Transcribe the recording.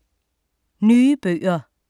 Nye bøger